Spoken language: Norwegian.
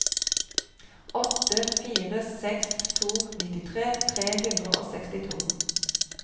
åtte fire seks to nittitre tre hundre og sekstito